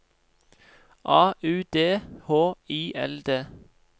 A U D H I L D